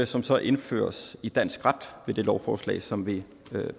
som så indføres i dansk ret ved det lovforslag som vi